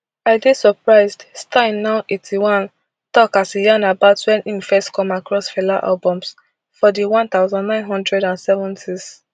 i dey surprised stein now eighty-one tok as e yarn about wen im first come across fela albums for di one thousand, nine hundred and seventys